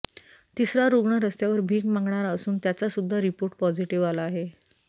तिसरा रुग्ण रस्त्यावर भीक मागणारा असून त्याचा सूध्दा रिपोर्ट पॉझिटिव्ह आला आहे